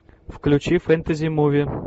включи фэнтези муви